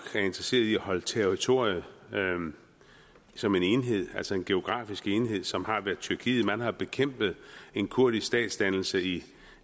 er interesseret i at holde territoriet som en enhed altså en geografisk enhed som tyrkiet de har bekæmpet en kurdisk statsdannelse i